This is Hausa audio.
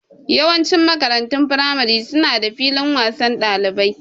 Yawancin makarantun firamare su na da filin wasan ɗalibai